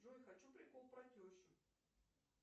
джой хочу прикол про тещу